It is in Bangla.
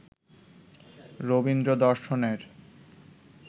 রবীন্দ্র-দর্শনের